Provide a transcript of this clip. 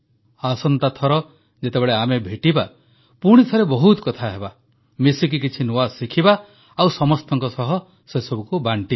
ଆସନ୍ତା ଥର ଯେତେବେଳେ ଆମେ ଭେଟିବା ପୁଣିଥରେ ବହୁତ କଥା ହେବା ମିଶିକି କିଛି ନୂଆ ଶିଖିବା ଆଉ ସମସ୍ତଙ୍କ ସହ ବାଂଟିବା